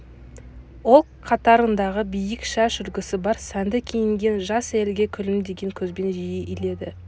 ол қатарындағы биік шаш үлгісі бар сәнді киінген жас әйелге күлімдеген көзбен жиі иледі